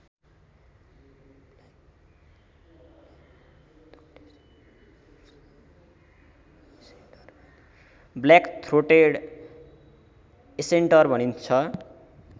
black-throated accentor भनिन्छ